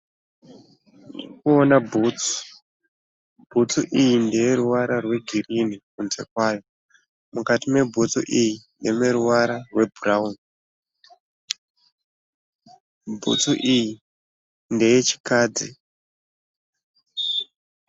Ndiri kuona bhutsu, bhutsu iyi ndeye ruvara rwegirini kunze kwayo, mukati mebhutsu iyi ndemeruvara rwebhurawuni bhutsu iyi ndeye chikadzi.